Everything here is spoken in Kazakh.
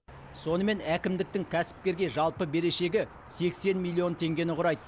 сонымен әкімдіктің кәсіпкерге жалпы берешегі сексен миллион теңгені құрайды